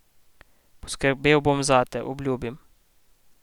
Poskrbel bom zate, obljubim.